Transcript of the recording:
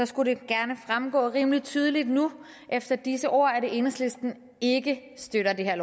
skulle gerne fremgå rimelig tydeligt nu efter disse ord at enhedslisten ikke støtter det her